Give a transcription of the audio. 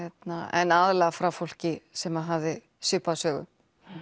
en aðallega frá fólki sem hafði svipaða sögu